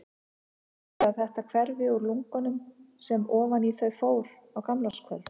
Haldið þið að þetta hverfi úr lungunum sem ofan í þau fór á gamlárskvöld?